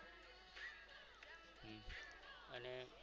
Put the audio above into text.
અને